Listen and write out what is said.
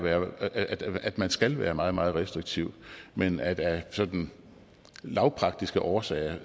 at man skal være meget meget restriktiv men af sådan lavpraktiske årsager